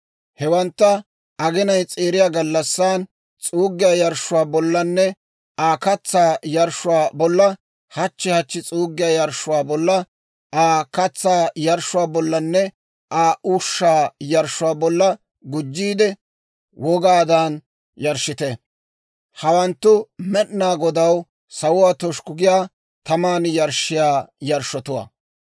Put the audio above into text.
Hewantta aginay s'eeriya gallassan s'uuggiyaa yarshshuwaa bollanne Aa katsaa yarshshuwaa bolla, hachchi hachchi s'uuggiyaa yarshshuwaa bolla, Aa katsaa yarshshuwaa bollanne Aa ushshaa yarshshuwaa bolla gujjiide, wogaadan yarshshite; hawanttu Med'inaa Godaw sawuwaa toshukku giyaa, taman yarshshiyaa yarshshotuwaa.